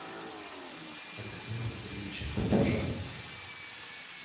александром андреевичем патрушевым